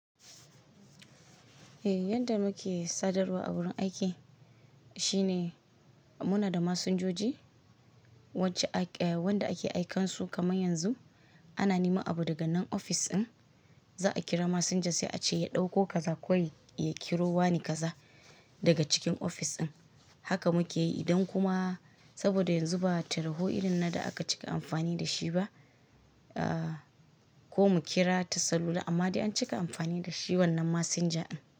Eh, yadda muke sadarwa a wurin aiki shine muna da masinjoji wanda ake aikansu kamar yanzu ana neman abu daga nan ofis ɗin, za a kira masinja sai a ce ya ɗauko kaza kawai ya kiro wani kaza daga cikin ofis ɗin. Haka muke yi idan kuma saboda yanzu ba tarho irin na da aka cika amfani da shi ba. Ko mu kira ta salula amma dai an cika amfani da shi wannan masinja ɗin.